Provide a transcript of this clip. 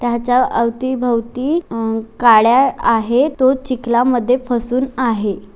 त्याच्या अवतीभवती म काड्या आहे तो चिकला मधे फसुन आहे.